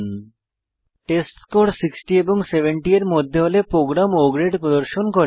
এখানে টেস্টস্কোর 60 এবং 70 এর মধ্যে হলে প্রোগ্রাম O গ্রেড প্রদর্শন করে